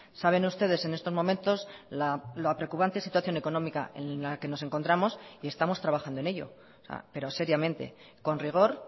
saben ustedes en estos momentos la preocupante situación económica en la que nos encontramos y estamos trabajando en ello pero seriamente con rigor